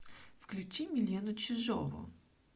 включи милену чижову